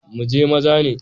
Muji maza ne.